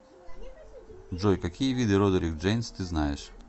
джой какие виды родерик джейнс ты знаешь